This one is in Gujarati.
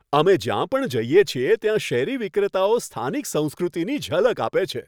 અમે જ્યાં પણ જઈએ છીએ ત્યાં શેરી વિક્રેતાઓ સ્થાનિક સંસ્કૃતિની ઝલક આપે છે.